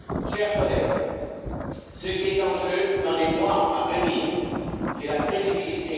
Chers collègues, ce qui sera en jeu dans les mois à venir, c'est notre crédibilité.